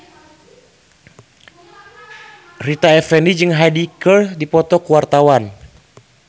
Rita Effendy jeung Hyde keur dipoto ku wartawan